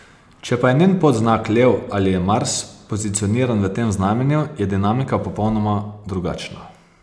Če pa je njen podznak lev ali je Mars pozicioniran v tem znamenju, je dinamika popolnoma drugačna.